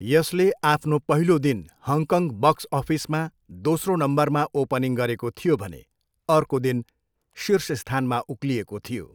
यसले आफ्नो पहिलो दिन हङकङ बक्स अफिसमा दोस्रो नम्बरमा ओपनिङ गरेको थियो भने अर्को दिन शीर्ष स्थानमा उक्लिएको थियो।